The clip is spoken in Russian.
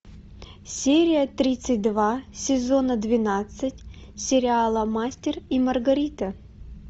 серия тридцать два сезона двенадцать сериала мастер и маргарита